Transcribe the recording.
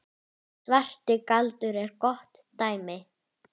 Ferlega ertu þung og andfúl.